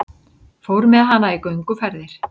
Fór með hana í gönguferðir.